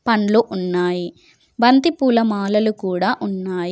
పండ్లు ఉన్నాయి బంతి పూల మాలలు కూడా ఉన్నాయి.